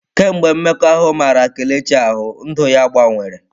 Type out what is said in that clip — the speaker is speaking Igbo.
Kemgbe mmekọahụ mara Kelechi ahụ, ndụ ya gbanwere.